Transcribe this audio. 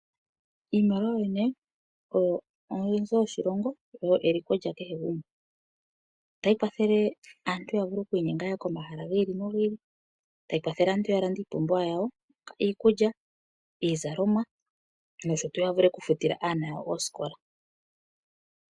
Iimaliwa yoyene oyo oonzo dhoshilongo, oyo eliko lyakehe gumwe. Otayi kwathele aantu yavule okwiinyenga yahe komahala gi ili nogi ili, tayi kwathele aantu yalende iipumbiwa yawo, iikulya, iizalomwa nosho tu yavule okufutila aanona yawo oosikola.